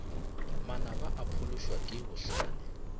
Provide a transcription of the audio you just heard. manaba o phološwa ke bohlale